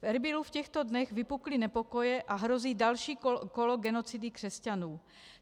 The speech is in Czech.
V Erbilu v těchto dnech vypukly nepokoje a hrozí další kolo genocidy křesťanů.